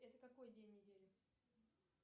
это какой день недели